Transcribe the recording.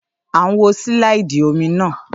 À ń wo sílàìdì omi náà